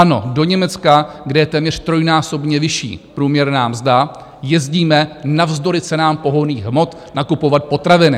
Ano, do Německa, kde je téměř trojnásobně vyšší průměrná mzda, jezdíme navzdory cenám pohonných hmot nakupovat potraviny.